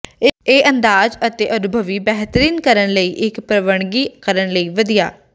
ਇਹ ਅੰਦਾਜ਼ ਅਤੇ ਅਨੁਭਵੀ ਬੇਹਤਰੀਨ ਕਰਨ ਲਈ ਇੱਕ ਪ੍ਰਵਾਨਗੀ ਕਰਨ ਲਈ ਵਧੀਆ ਹੈ